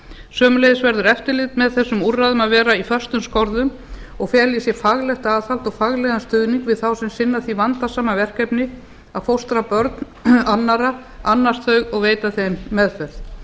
sömuleiðis verður eftirlit með þessum úrræðum að vera í föstum skorðum og fela í sér faglegt aðhald og faglegan stuðning við þá sem sinna því vandasama verkefni að fóstra börn annarra annast þau og veita þeim meðferð